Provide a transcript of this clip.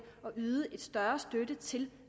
og yde større støtte til